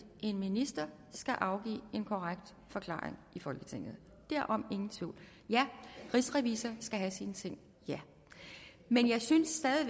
en minister skal afgive en korrekt forklaring i folketinget derom ingen tvivl ja rigsrevisor skal have sine ting men jeg synes stadig